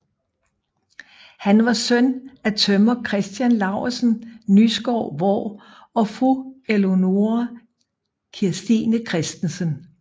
Han var søn af tømrer Christian Laursen Nyskov Vraa og fru Eleonora Kirstine Christensen